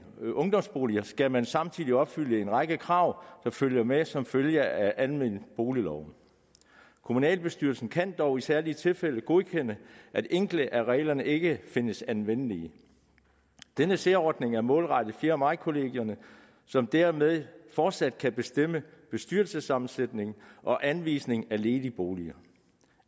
ungdomsboliger skal man samtidig opfylde en række krav der følger med som følge af almenboligloven kommunalbestyrelsen kan dog i særlige tilfælde godkende at enkelte af reglerne ikke findes anvendelige denne særordning er målrettet fjerde maj kollegierne som dermed fortsat kan bestemme bestyrelsessammensætning og anvisning af ledige boliger